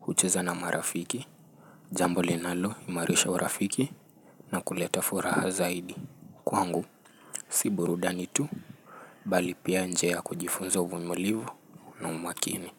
hucheza na marafiki, jamboli nalo imarisha urafiki na kuleta furaha zaidi. Kwangu, si burudani tu. Bali pia njiaya kujifunza uvumilivu na umakini.